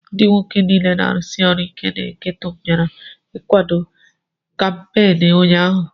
Ndị nwoke niile na-arụsi ọrụ ike na gétò bịara ịkwado kampééni ụnyaahụ